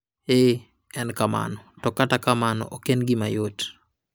Ee, en kamano, to kata kamano ok en gima yot.